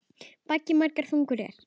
Baggi margra þungur er.